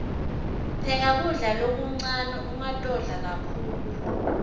pheka kudla lokuncane ungatodla kakhulu